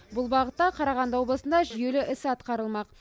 бұл бағытта қарағанды облысында жүйелі іс атқарылмақ